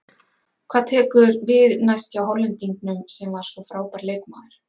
Hvað tekur við næst hjá Hollendingnum sem var svo frábær leikmaður?